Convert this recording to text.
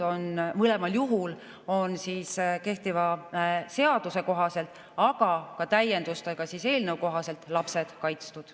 Mõlemal juhul on kehtiva seaduse kohaselt, aga ka eelnõu täienduste kohaselt, lapsed kaitstud.